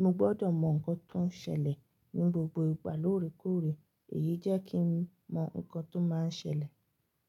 mo gbọ́dọ̀ mọ nǹkan tó ń ṣẹlẹ̀ nínú gbogbo ìgbà lóòrèkóòrè èyí jẹ́ kí ń mọ nǹkan tó máa ń ṣẹlẹ̀